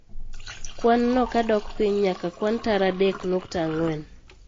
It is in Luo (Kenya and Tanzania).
Kwan no ka dok piny nyaka kwan tara adek nukta ang'wen